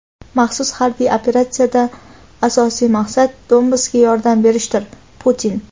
"Maxsus harbiy operatsiya"dan asosiy maqsad Donbassga yordam berishdir – Putin.